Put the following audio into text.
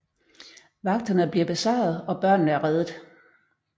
Vagterne bliver besejret og børnene er reddet